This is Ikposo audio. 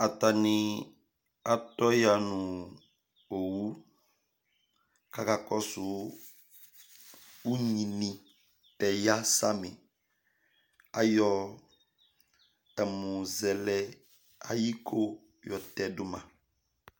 Atanɩ atɔƴaŋʊ owʊ ƙaƙɔsʊ ʊŋɣɩ tɔƴa sami Ayɔ ɛmʊzɛlɛ ayiko ƴɔteɖʊ ma